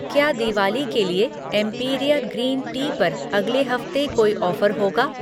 क्या दिवाली के लिए एम्पिरिआ ग्रीन टी पर अगले हफ्ते कोई ऑफ़र होगा?